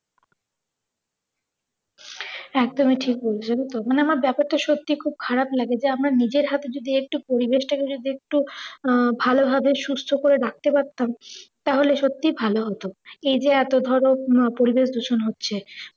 একদমই ঠিক বলেছো যেন তো। মানে আমার ব্যাপার টা সত্যি খুব খারাপ লাগে যে আমরা নিজের হাতে যদি একটু পরিবেশ টা কে যদি একটু আহ ভালোভাবে সুস্থ করে রাখতে পারতাম তাহলে সত্যি ভালো হতো। এই যে এত ধরো আহ পরিবেশদূষণ হচ্ছে